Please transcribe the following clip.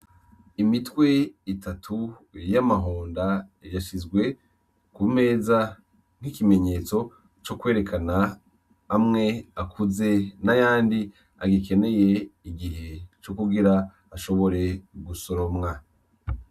Imitwe itatu y'amahonda yashizwe ku meza nk'ikimenyesto co kwerekana amwe akuze nayandi agikeneye igihe co kugira ashobore gusoromwa.